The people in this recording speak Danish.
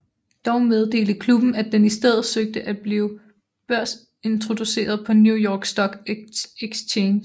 Dog meddelte klubben at den i stedet søgte at blive børsintroduceret på New York Stock Exchange